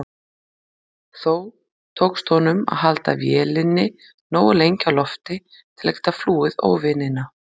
Þó tókst honum að halda vélinni nógu lengi á lofti til að geta flúið óvinina.